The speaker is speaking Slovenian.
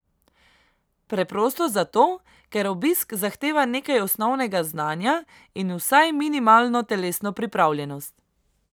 Preprosto zato, ker obisk zahteva nekaj osnovnega znanja in vsaj minimalno telesno pripravljenost.